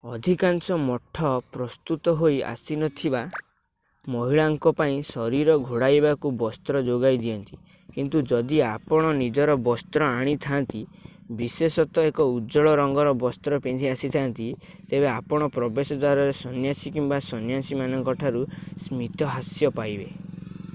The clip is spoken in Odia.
ଅଧିକାଂଶ ମଠ ପ୍ରସ୍ତୁତ ହୋଇ ଆସିନଥିବା ମହିଳାଙ୍କ ପାଇଁ ଶରୀର ଘୋଡ଼ାଇବାକୁ ବସ୍ତ୍ର ଯୋଗାଇ ଦିଅନ୍ତି କିନ୍ତୁ ଯଦି ଆପଣ ନିଜର ବସ୍ତ୍ର ଆଣିଥାନ୍ତି ବିଶେଷତଃ ଏକ ଉଜ୍ଜ୍ୱଳ ରଙ୍ଗର ବସ୍ତ୍ର ପିନ୍ଧି ଆସିଥାଆନ୍ତି ତେବେ ଆପଣ ପ୍ରବେଶ ଦ୍ଵାରରେ ସନ୍ନ୍ୟାସୀ କିମ୍ବା ସନ୍ନ୍ୟାସିନୀମାନଙ୍କ ଠାରୁ ସ୍ମିତହାସ୍ୟ ପାଇବେ